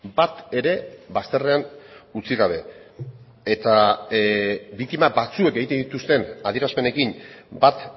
bat ere bazterrean utzi gabe eta biktima batzuek egiten dituzten adierazpenekin bat